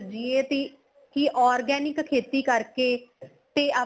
ਸਿਰਜੀਏ ਤੀ organic ਖੇਤੀ ਕਰਕੇ ਤੇ ਆਪਾਂ